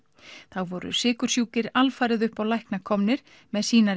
þá voru sykursjúkir alfarið upp á lækna komnir með